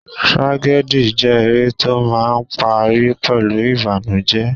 Tragedy jẹ́ eré tó máà ń parí pẹ̀lú ìbànújẹ.